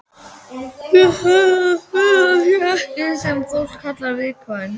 Ég held að Þura sé það sem fólk kallar viðkvæm.